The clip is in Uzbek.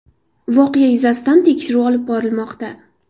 Voqea yuzasidan tekshiruv olib borilmoqda.